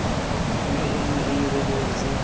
mme o nne o lebeletse